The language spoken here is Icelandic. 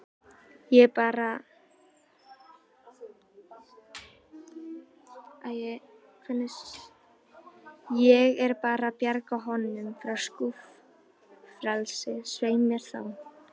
Ég er bara að bjarga honum frá skúffelsi, svei mér þá.